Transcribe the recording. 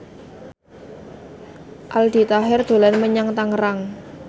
Aldi Taher dolan menyang Tangerang